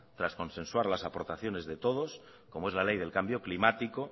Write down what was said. tras consensuar las aportaciones de todos como es la ley del cambio climático